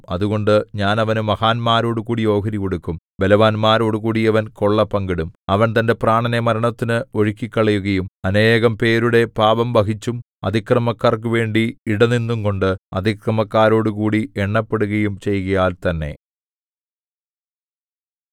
അതുകൊണ്ട് ഞാൻ അവനു മഹാന്മാരോടുകൂടി ഓഹരി കൊടുക്കും ബലവാന്മാരോടുകൂടി അവൻ കൊള്ള പങ്കിടും അവൻ തന്റെ പ്രാണനെ മരണത്തിന് ഒഴുക്കിക്കളയുകയും അനേകം പേരുടെ പാപം വഹിച്ചും അതിക്രമക്കാർക്കു വേണ്ടി ഇടനിന്നുംകൊണ്ട് അതിക്രമക്കാരോടുകൂടി എണ്ണപ്പെടുകയും ചെയ്യുകയാൽ തന്നെ